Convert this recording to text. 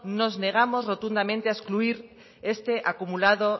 nos negamos rotundamente a excluir este acumulado